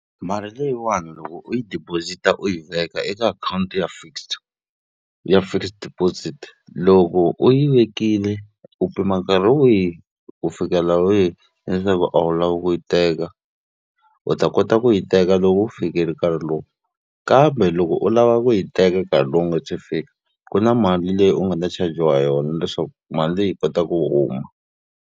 Mali leyiwani loko u yi deposit-a u yi veka eka akhawunti ya fixed ya fixed deposit. Loko u yi vekile u pima nkarhi wihi ku fikala wihi leswaku a wu lavi ku yi teka. U ta kota ku yi teka loko wu fikile nkarhi lowu. Kambe loko u lava ku yi teka nkarhi lowu wu nga se fika, ku na mali leyi u nga ta chajiwa yona leswaku mali leyi yi kota ku huma.